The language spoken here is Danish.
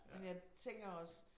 Men jeg tænker også